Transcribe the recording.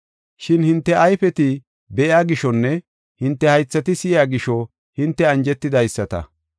“Shin hinte ayfeti be7iya gishonne hinte haythati si7iya gisho hinte anjetidaysata.